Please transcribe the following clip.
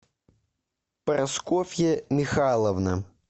прасковья михайловна